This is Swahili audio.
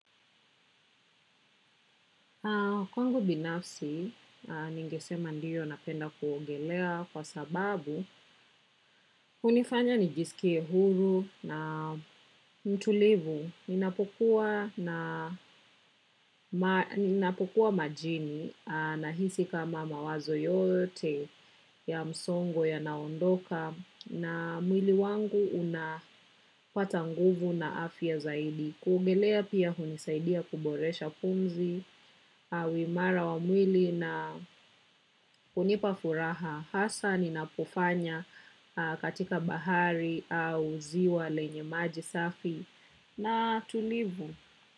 Kwangu binafsi, ningesema ndiyo napenda kuongelea kwa sababu, hunifanya nijisikie huru na mtulivu, ninapokuwa majini nahisi kama mawazo yote ya msongo yanaondoka na mwili wangu unapata nguvu na afya zaidi. Kuogelea pia hunisaidia kuboresha pumzi, au imara wa mwili na kunipa furaha hasa ninapofanya katika bahari au ziwa lenye maji safi na tulivu.